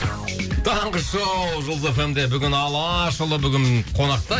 таңғы шоу жұлдыз эф эм де бүгін алашұлы бүгін қонақта